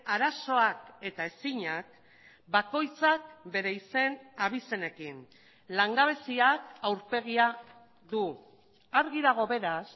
arazoak eta ezinak bakoitzak bere izen abizenekin langabeziak aurpegia du argi dago beraz